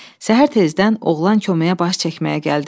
Səhər tezdən oğlan köməyə baş çəkməyə gəldi.